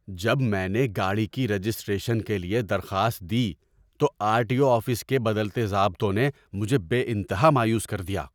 جب میں نے گاڑی کی رجسٹریشن کے لیے درخواست دی تو آر ٹی او آفس کے بدلتے ضابطوں نے مجھے بے انتہا مایوس کر دیا۔